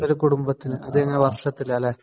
ഒരു കുടുംബത്തിന് അതെങ്ങനെ വർഷത്തിലാ അല്ലേ?